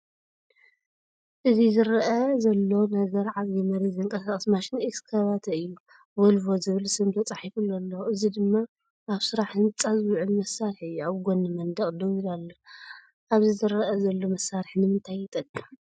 እዚዝርአ ዘሎ ነገር፡ ዓቢ መሬት ዘንቀሳቕስ ማሽን ኤክስካቫተእዩ። ቮልቮ ዝብል ስም ተጻሒፉሉ ኣሎ፡ እዚ ድማ ኣብ ስራሕ ህንጻ ዝውዕል መሳርሒ እዩ። ኣብ ጎኒ መንደቕ ደው ኢሉ ኣሎ። ኣብዚ ዝረአ ዘሎ መሳርሒ ንምንታይ ይጠቅም?